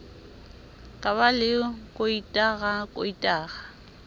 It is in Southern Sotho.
ka ba le koitara koitara